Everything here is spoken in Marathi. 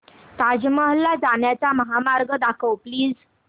ताज महल ला जाण्याचा महामार्ग दाखव प्लीज